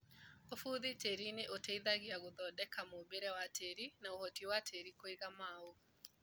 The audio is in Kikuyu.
ũbũthu tĩrinĩ ũteihagia gũthondeka mũmbire wa tĩri na ũhoti wa tĩri kũiga maũ.